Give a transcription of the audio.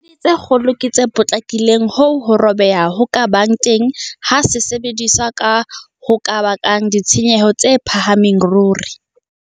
Disaekele tsa kgolo ke tse potlakileng hoo ho robeha ho ka bang teng ha sesebediswa ho ka bakang ditshenyehelo tse phahameng ruri.